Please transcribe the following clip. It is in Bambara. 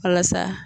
Walasa